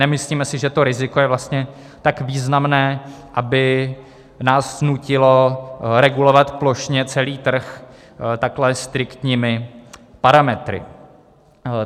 Nemyslíme si, že to riziko je vlastně tak významné, aby nás nutilo regulovat plošně celý trh takhle striktními parametry.